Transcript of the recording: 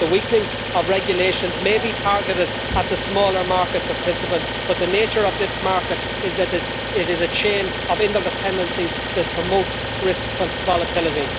The weakening of regulations may be targeted at the smaller market participants, but the nature of this market is that it is a chain of interdependencies that promotes risk volatility.